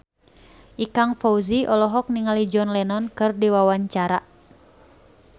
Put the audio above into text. Ikang Fawzi olohok ningali John Lennon keur diwawancara